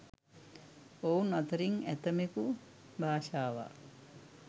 ඔවුන් අතරින් ඇතමෙකු භාෂාවක්